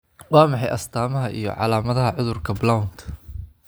Waa maxay astamaha iyo calaamadaha cudurka Blount?